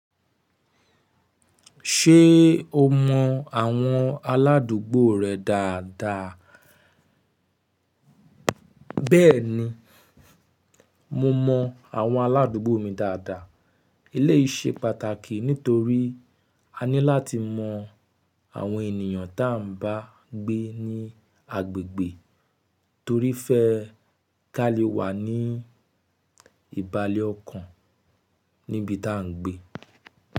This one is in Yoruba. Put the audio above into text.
Ṣé o mọ àwọn aládùúgbò rẹ dáadáa? Bẹ́ẹ̀ni, mo mọ àwọn aládùúgbò mi dáadáa. Ilé yìí ṣe pàtàkì nítorí a ní láti mọ àwọn ènìyàn tá ń bá gbé ní agbègbè torí fẹ́ ká lè wà ní ìbàlé ọkàn níbi tá ń gbé.